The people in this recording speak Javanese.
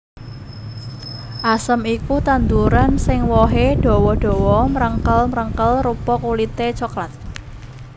Asem iku tetanduran sing wohé dawa dawa mrengkel mrengkel rupa kulité coklat